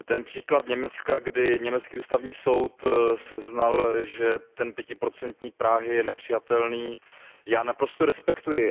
Příklad Německa, kdy německý Ústavní soud seznal, že pětiprocentní práh je nepřijatelný, já naprosto respektuji.